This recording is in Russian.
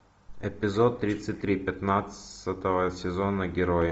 эпизод тридцать три пятнадцатого сезона герои